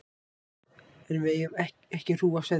En við eigum ekki hrúgu af seðlum.